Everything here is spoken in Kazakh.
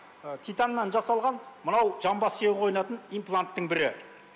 титаннан жасалған мынау жамбас сүйегі қойылатын импланттың бірі